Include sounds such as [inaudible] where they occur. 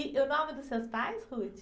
E o nome dos seus pais? [unintelligible]